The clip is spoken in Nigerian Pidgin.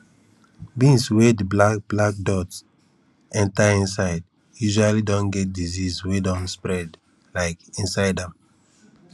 beans wey di black black dot enter inside usually don get disease wey don spread um inside am